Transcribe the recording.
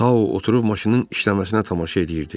Tao oturub maşının işləməsinə tamaşa eləyirdi.